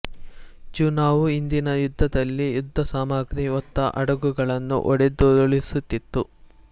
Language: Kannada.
ಜ್ಯೂನಾ ವು ಹಿಂದಿನ ಯುದ್ಧದಲ್ಲಿ ಯುದ್ಧಸಾಮಗ್ರಿ ಹೊತ್ತ ಹಡಗುಗಳನ್ನು ಹೊಡೆದುರುಳಿಸಿತ್ತು